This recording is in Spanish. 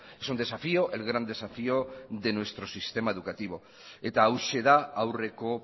es un desafío el gran desafío de nuestro sistema educativo eta hauxe da aurreko